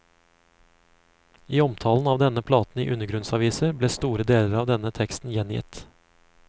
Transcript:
I omtalen av denne platen i undergrunnsaviser, ble store deler av denne teksten gjengitt.